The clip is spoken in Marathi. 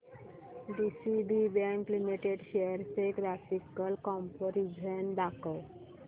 डीसीबी बँक लिमिटेड शेअर्स चे ग्राफिकल कंपॅरिझन दाखव